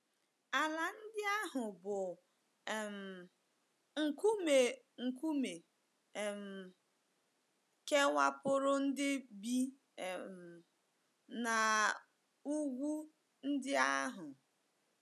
Ala ndị ahụ bụ́ um nkume nkume um kewapụrụ ndị bi um n’ugwu ndị ahụ.